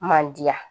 Man diya